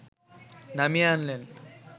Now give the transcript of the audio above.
নামিয়ে আনলেন